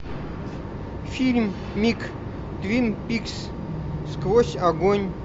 фильмик твин пикс сквозь огонь